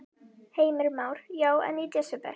Heimir Már: Já, en í desember?